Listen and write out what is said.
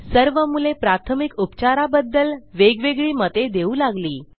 सर्व मुले प्राथमिक उपचाराबद्दल वेगवेगळी मते देऊ लागली